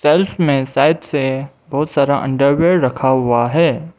Shelf में side से बहुत सारा अंडरवियर रखा हुआ है।